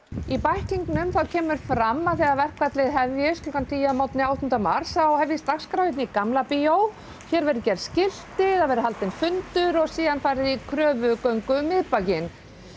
í bæklingnum kemur fram að þegar verkfallið hefjist klukkan tíu að morgni áttunda mars þá hefjist dagskrá hérna í Gamla bíói hér verði gerð skilti það verði haldinn fundur og síðan farið í kröfugöngu um miðbæinn